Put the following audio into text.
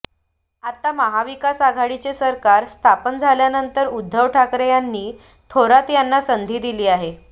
आता महाविकास आघाडीचे सरकार स्थापन झाल्यानंतर उद्धव ठाकरे यांनी थोरात यांना संधी दिली आहे